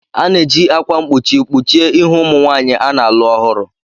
A na-eji akwa mkpuchi kpuchie ihu ụmụ nwanyị a na-alụ ọhụrụ.